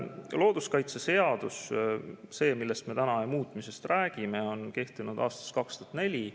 Looduskaitseseadus – see, mille muutmisest me täna räägime – on kehtinud aastast 2004.